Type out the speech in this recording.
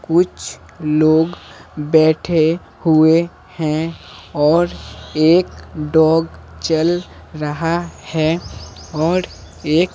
कुछ लोग बैठे हुए हैं और एक डॉग चल रहा है और एक --